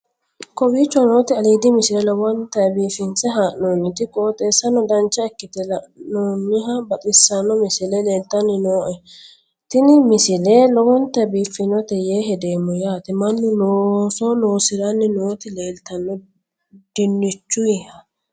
kowicho nooti aliidi misile lowonta biifinse haa'noonniti qooxeessano dancha ikkite la'annohano baxissanno misile leeltanni nooe ini misile lowonta biifffinnote yee hedeemmo yaate mannu looso loosiranni nooti leeltanno dinichuyiha